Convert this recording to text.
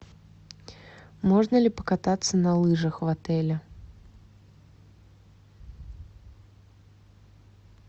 можно ли покататься на лыжах в отеле